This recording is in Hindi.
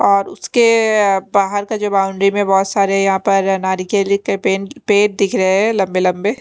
अ उसके बाहार का जो बाउंड्री में जो बोहोत सारे यहां पर नारियल केले के पेड़ दिख रहे है लम्बे लम्बे --